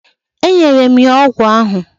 E nyere m ya ọgwụ ahụ.